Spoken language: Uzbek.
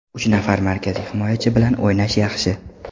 Uch nafar markaziy himoyachi bilan o‘ynash yaxshi.